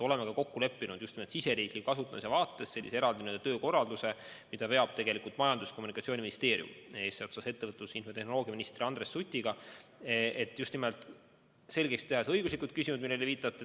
Oleme ka kokku leppinud just nimelt oma riigi vaates sellise eraldi töökorralduse, mida veab Majandus- ja Kommunikatsiooniministeerium eesotsas ettevõtlus- ja infotehnoloogiaministri Andres Sutiga, et just nimelt selgeks teha õiguslikud küsimused, millele te viitasite.